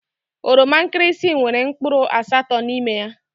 Oroma nkirisi nwèrè mkpụrụ asatọ n'ime ya.